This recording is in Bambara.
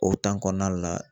O kɔnɔna la